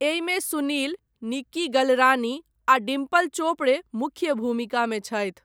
एहिमे सुनील, निक्की गलरानी आ डिम्पल चोपड़े मुख्य भूमिकामे छथि।